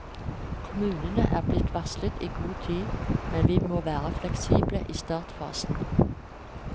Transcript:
Kommunene er blitt varslet i god tid, men vi må være fleksible i startfasen.